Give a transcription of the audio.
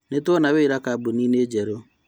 Nĩtwona wĩra kambu-inĩ njerũ